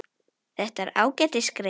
Þetta er ágætis grein.